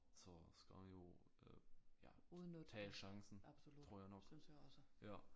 Så skal man jo øh ja tage chancen tror jeg nok ja